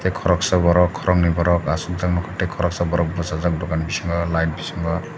tei korosa borok koroknoi borok asokjak nogka tei koroksa bosajak dokani bisingo light bisingo.